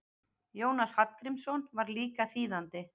Jónas Hallgrímsson var líka þýðandi.